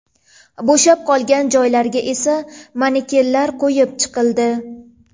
Bo‘shab qolgan joylarga esa manekenlar qo‘yib chiqildi.